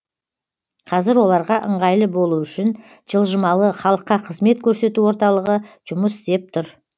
қазір оларға ыңғайлы болу үшін жылжымалы халыққа қызмет көрсету орталығы жұмыс істеп тұр